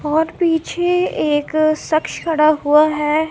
और पीछे एक शख्स खड़ा हुआ हैं।